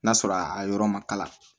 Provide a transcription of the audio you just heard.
N'a sɔrɔ a yɔrɔ ma kala